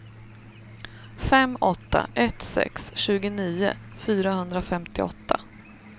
fem åtta ett sex tjugonio fyrahundrafemtioåtta